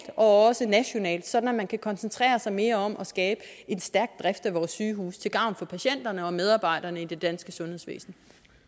og også nationalt sådan at man kan koncentrere sig mere om at skabe en stærk drift af vores sygehuse til gavn for patienterne og medarbejderne i det danske sundhedsvæsen